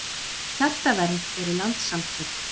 Hjartavernd eru landssamtök.